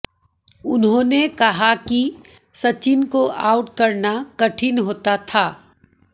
उन्होंने कहा कि सचिन को आउट करना कठिन होता था